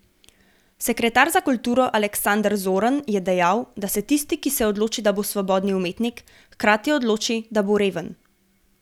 Sekretar za kulturo Aleksander Zorn je dejal, da se tisti, ki se odloči, da bo svobodni umetnik, hkrati odloči, da bo reven.